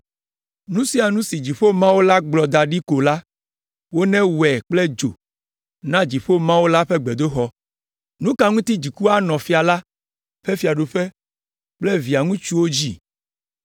Nu sia nu si Dziƒo Mawu la gblɔ da ɖi ko la, wonewɔe kple dzo na Dziƒo Mawu la ƒe gbedoxɔ. Nu ka ŋuti dziku anɔ fia la ƒe fiaɖuƒe kple via ŋutsuwo dzi?